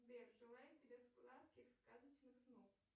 сбер желаем тебе сладких сказочных снов